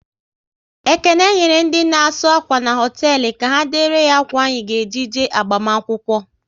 Ekene nyere ndị na asụ akwa n' hoteelu, ka ha dere ya ákwà anyị ga eji je agbamakwụkwọ